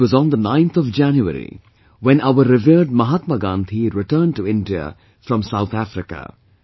It was on the 9 th of January, when our revered Mahatma Gandhi returned to India from South Africa